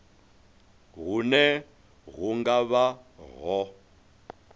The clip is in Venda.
hune hu nga vha ho